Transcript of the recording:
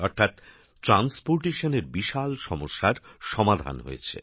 অর্থাৎ পণ্য পরিবহণের বিশাল সমস্যার সমাধান হয়েছে